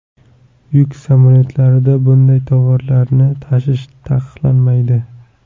Yuk samolyotlarida bunday tovarlarni tashish taqiqlanmaydi.